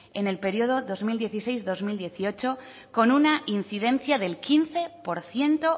en el periodo dos mil dieciséis dos mil dieciocho con una incidencia del quince por ciento